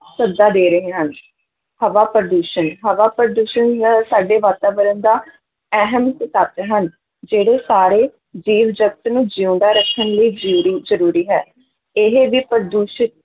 ਸੱਦਾ ਦੇ ਰਹੇ ਹਨ ਹਵਾ ਪ੍ਰਦੂਸ਼ਣ ਹਵਾ ਪ੍ਰਦੂਸ਼ਣ ਹੁੰਦਾ ਹੈ ਸਾਡੇ ਵਾਤਾਵਰਨ ਦਾ ਅਹਿਮ ਇੱਕ ਤੱਤ ਹਨ, ਜਿਹੜੇ ਸਾਰੇ ਜੀਵ-ਜਗਤ ਨੂੰ ਜਿਊਂਦਾ ਰੱਖਣ ਲਈ ਜ਼ਰੂਰੀ, ਜ਼ਰੂਰੀ ਹੈ, ਇਹ ਵੀ ਪ੍ਰਦੂਸ਼ਿਤ